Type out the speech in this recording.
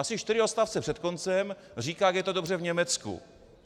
Asi čtyři odstavce před koncem říká, jak je to dobře v Německu.